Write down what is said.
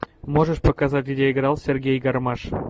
можешь показать где играл сергей гармаш